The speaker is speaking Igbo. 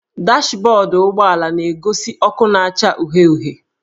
Dashbọdụ ụgbọala na-egosi ọkụ na-acha uhie uhie